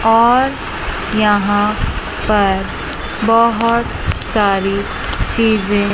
और यहां पर बहोत सारी चीजें--